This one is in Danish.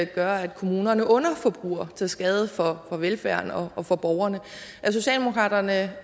gør at kommunerne underforbruger til skade for velfærden og for borgerne er socialdemokraterne